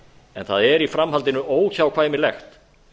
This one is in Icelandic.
en það er í framhaldinu óhjákvæmilegt